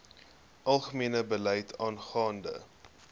algemene beleid aangaande